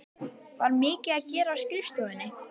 Var mikið að gera á skrifstofunni?